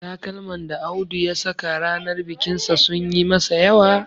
Takalman da Audu ya saka ranar bikinsa sun yi masa yawa